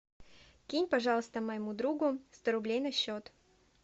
кинь пожалуйста моему другу сто рублей на счет